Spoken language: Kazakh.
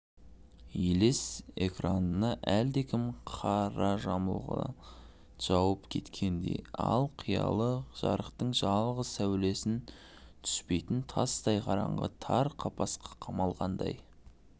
елес экранына әлдекім қара жамылғы жауып кеткендей ал қиялы жарықтың жалғыз сәулесі түспейтін тастай қараңғы тар қапасқа қамалғандай